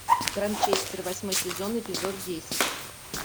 гранчестер восьмой сезон эпизод десять